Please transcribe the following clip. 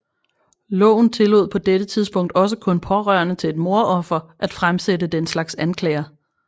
Loven tillod på dette tidspunkt også kun pårørende til et mordoffer at fremsætte den slags anklager